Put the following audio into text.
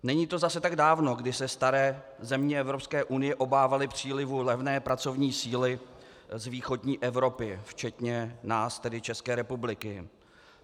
Není to zase tak dávno, kdy se staré země Evropské unie obávaly přílivu levné pracovní síly z východní Evropy, včetně nás, tedy České republiky.